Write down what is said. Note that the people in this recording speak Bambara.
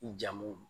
I jamu